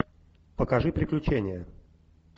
покажи приключения